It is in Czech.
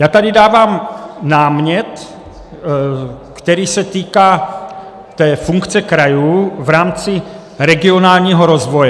Já tady dávám námět, který se týká té funkce krajů v rámci regionálního rozvoje.